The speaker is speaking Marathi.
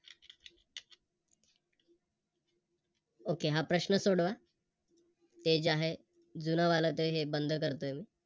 Okay हा प्रश्न सोडवा ते जे आहे जुनं वाल ते हे बंद करतोय मी.